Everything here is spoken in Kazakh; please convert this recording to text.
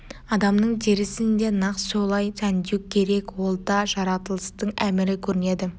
адамның терісін де нақ солай сәндеу керек ол да жаратылыстың әмірі көрінеді